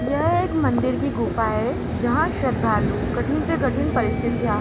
यह एक मंदिर की गुफा है जहां श्रद्धालु कठिन से कठिन परिस्थितियां--